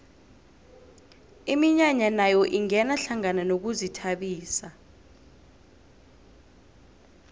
iminyanya nayo ingena hlangana nokuzithabisa